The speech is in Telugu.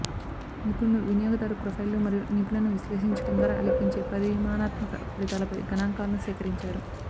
నిపుణులు వినియోగదారు ప్రొఫైల్లు మరియు నిపుణులను విశ్లేషించడం ద్వారా లెక్కించే పరిమాణాత్మక ఫలితాలపై గణాంకాలను సేకరించారు